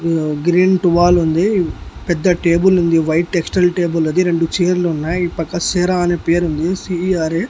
న్ గ్రీన్ టువాలుంది పెద్ద టేబులుంది వైట్ టెస్టల్ టేబులది రెండు చైర్లున్నాయ్ ఈ పక్క సెరా అని పేరుంది సి ఈ ఆర్ ఏ .